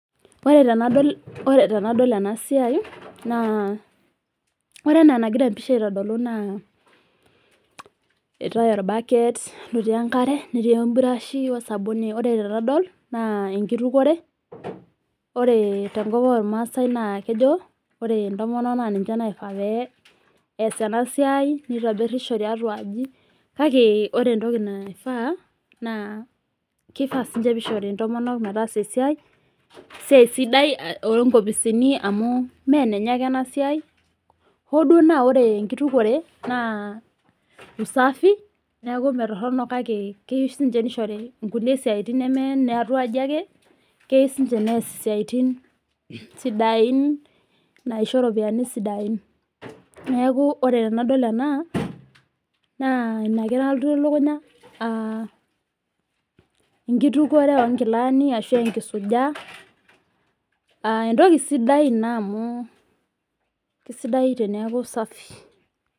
Ore tenadol enasiai, naa ore enaa nagira empisha aitodolu naa, eetae orbaket lotii enkare, netii eburashi osabuni. Ore tenadol, naa enkitukore. Ore tenkop ormaasai na kejo ore intomonok na ninche naifaa pe ees enasiai, nitobirisho tiatua aji, kake ore entoki naifaa, naa kifaa sinche pishori intomonok metaasa esiai, esiai sidai onkopisini amu menenye ake enasiai. Hoduo naa ore enkitukore naa usafi, neku metorrono kake keyieu sinche nishori nkulie siaitin neme niatua aji ake, keu sinche nees isiaitin sidain naisho ropiyiani sidain. Neeku ore tenadol ena, naa inake nalotu elukunya ah, enkitukore onkilani ashu enkisuja, ah entoki sidai ina amu, kesidai teneeku safi.